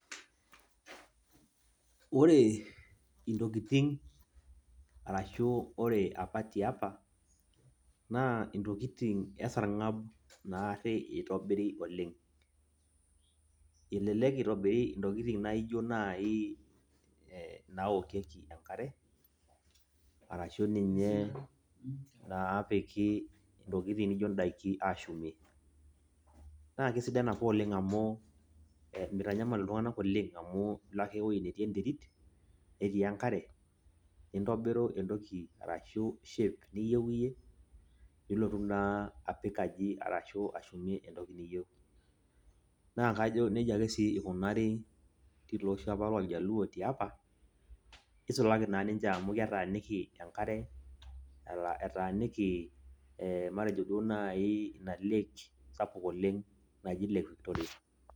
Ore intokiting, arashu ore apa tiapa, naa intokiting esarng'ab naarri itobiri oleng'. Elelek itobiri intokiting naijo nai naokieki enkare, arashu ninye naapiki intokiting nijo daiki ashumie. Na kesidan apa oleng amu, mitanyamal iltung'anak oleng, amu ilo ake ewoi netii enterit, netii enkare, nintobiru entoki arashu shape niyieu iyie, nilotu naa apik aji arashu ashumie entoki niyieu. Na kajo nejia ake si ikunari tiloosho apa loljaluo tiapa, nisulaki naa ninche amu ketaaniki enkare, etaaniki matejo duo nai ina lake sapuk oleng naji lake Victoria.